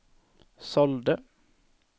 sålde